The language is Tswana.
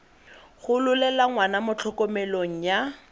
gololela ngwana mo tlhokomelong ya